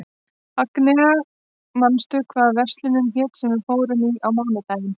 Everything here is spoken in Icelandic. Agnea, manstu hvað verslunin hét sem við fórum í á mánudaginn?